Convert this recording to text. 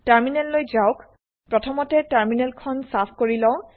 টাৰ্মিনেললৈ যাওক প্ৰথমতে টাৰ্মিনেল খন চাফ কৰি লওঁ